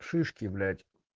шишки блять